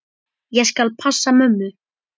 Ég skal passa mömmu.